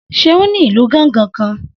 Seun ní ìlù gángan kan